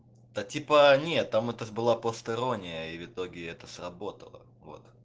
да типа нет там это ж была просто ирония и итоге это сработало